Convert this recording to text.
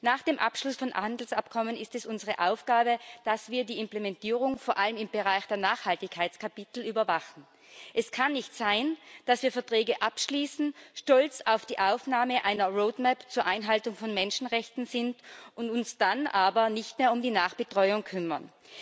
Nach dem Abschluss von Handelsabkommen ist es unsere Aufgabe, dass wir die Implementierung, vor allem im Bereich der Nachhaltigkeitskapitel, überwachen. Es kann nicht sein, dass wir Verträge abschließen, stolz auf die Aufnahme einer Roadmap zur Einhaltung von Menschenrechten sind und uns dann aber nicht mehr um die Nachbetreuung kümmern.